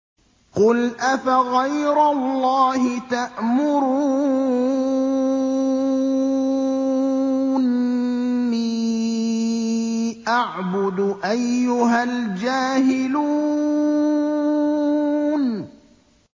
قُلْ أَفَغَيْرَ اللَّهِ تَأْمُرُونِّي أَعْبُدُ أَيُّهَا الْجَاهِلُونَ